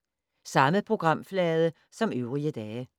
Samme programflade som øvrige dage